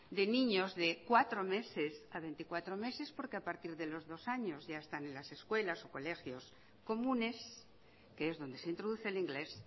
de niños de cuatro meses a veinticuatro meses porque a partir de los dos años ya están en las escuelas colegios comunes que es donde se introduce el inglés